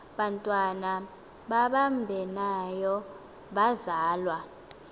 bantwana babambeneyo bazalwa